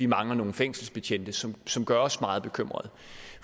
mangler nogle fængselsbetjente som som gør os meget bekymret